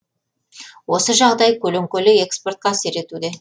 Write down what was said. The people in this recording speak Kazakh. осы жағдай көлеңкелі экспортқа әсер етуде